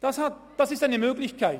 Das ist eine Möglichkeit.